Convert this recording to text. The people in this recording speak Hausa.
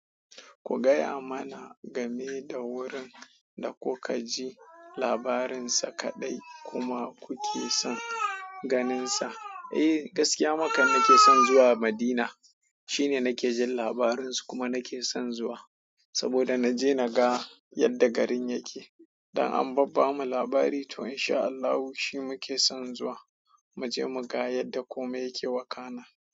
Ku gaya mana game da wurin da kuka ji labarinsa kaɗai kuma kuke son ganinsa. Eh, gaskiya maka nake son zuwa Madina. Shine nake jin labarinsa, kuma nake son zuwa saboda na je na ga yadda garin yake. Don an babbama labari to in sha Allahu shi muke son zuwa, mu je mu ga yadda komai yake wakana.